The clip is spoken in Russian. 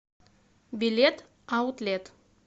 билет аутлет